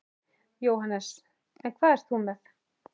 Jóhannes: En hvað ert þú með?